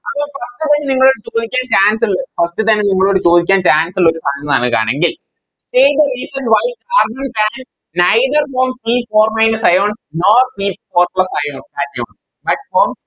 അപ്പോം അത്രേ നിങ്ങളോട് ചോയിക്കാൻ Chance ഉള്ളു First തന്നെ നിങ്ങളോട് ചോയിക്കാൻ Chance ഉള്ളു ആണെങ്കിൽ Either if Neither than c four minus ion non nor c is four plus ion at forms